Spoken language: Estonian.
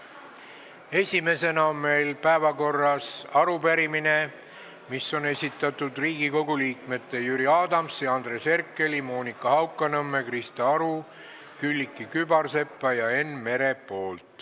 Esimesena on meil päevakorras arupärimine, mille on esitanud Riigikogu liikmed Jüri Adams, Andres Herkel, Monika Haukanõmm, Krista Aru, Külliki Kübarsepp ja Enn Meri.